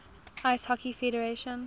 ice hockey federation